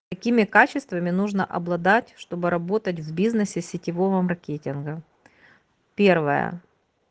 какими качествами нужно обладать чтобы работать в бизнесе сетевого маркетинга первое